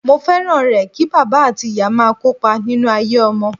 Mo fẹ́ràn rẹ̀ kí bàbá àti ìyá máa kópa nínú ayé ọmọ.